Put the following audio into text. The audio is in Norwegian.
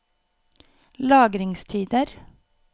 lagringstider